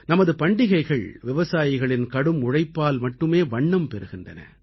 நமது பண்டிகைகள் விவசாயிகளின் கடும் உழைப்பால் மட்டுமே வண்ணம் பெறுகின்றன